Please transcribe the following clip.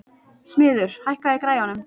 Smiður, hækkaðu í græjunum.